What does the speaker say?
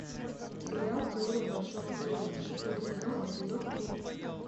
сериал теория большого взрыва шестой сезон эпизод три